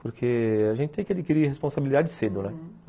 Porque a gente tem que adquirir responsabilidade cedo, né? uhum